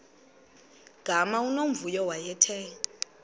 gama unomvuyo wayethe